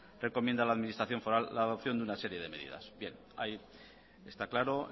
recomienda a la administración foral la adopción de una serie de medidas bien ahí está claro